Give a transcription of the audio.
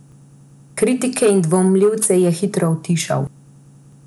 Kritike in dvomljivce je hitro utišal.